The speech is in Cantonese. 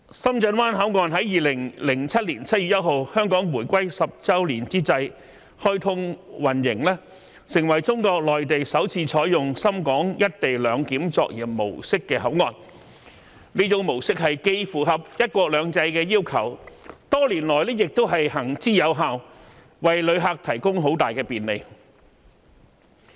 深圳灣口岸在2007年7月1日香港回歸10周年之際開通運營，成為中國內地首次採用深港"一地兩檢"作業模式的口岸，這種模式既符合"一國兩制"的要求，多年來亦行之有效，為旅客提供很大的便利。